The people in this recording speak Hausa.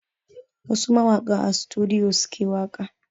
Wasu mawakan a sutudiyo suke waƙa